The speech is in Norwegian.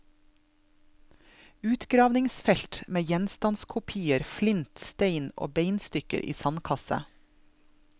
Utgravningsfelt med gjenstandskopier, flint, stein og beinstykker i sandkasse.